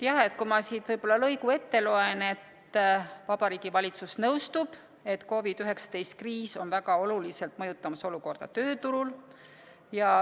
Jah, ma loen siit lõigu ette: "Vabariigi Valitsus nõustub, et COVID-19 kriis on väga oluliselt mõjutamas olukorda tööturul.